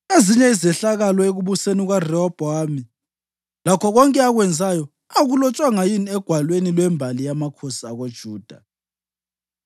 Ezinye izehlakalo ekubuseni kukaRehobhowami, lakho konke akwenzayo, akulotshwanga yini egwalweni lwembali yamakhosi akoJuda?